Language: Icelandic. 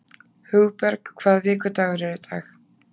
Hugberg, hvaða vikudagur er í dag?